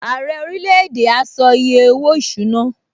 Ààrẹ orílẹ̀-èdè a sọ iye owó-ìṣúná